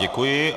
Děkuji.